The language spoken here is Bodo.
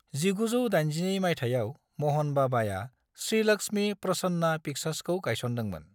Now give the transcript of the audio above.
1982 मायथायाव महन बाबाआ श्री लक्ष्मी प्रसन्ना पिक्चार्सखौ गायसनदोंमोन।